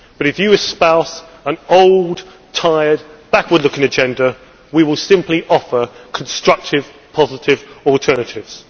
But if you espouse an old, tired, backward looking agenda, we will simply offer constructive, positive alternatives.